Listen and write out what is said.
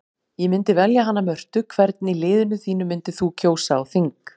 Ég myndi velja hana Mörtu Hvern í liðinu þínu myndir þú kjósa á þing?